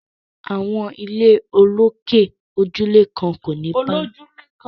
Àwọn ilé olókè olójúlé kan kò ní pálọ̀